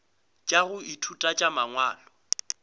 tša go ithuta tša mangwalo